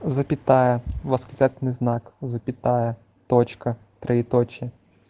запятая восклецательный знак запятая точка троеточие